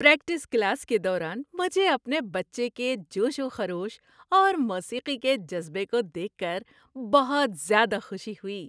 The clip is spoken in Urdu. پریکٹس کلاس کے دوران مجھے اپنے بچے کے جوش و خروش اور موسیقی کے جذبے کو دیکھ کر بہت زیادہ خوشی ہوئی۔